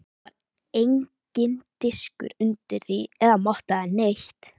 Það var enginn diskur undir því eða motta eða neitt.